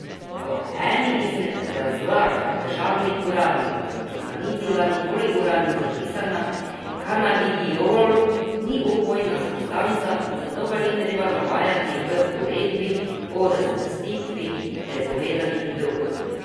Po eni izmed razlag državnih uradnikov, ki pa ni bila nikoli uradno zapisana, kanabidiol ni opojna substanca, zato ga ni treba navajati v uredbi o razvrstitvi prepovedanih drog.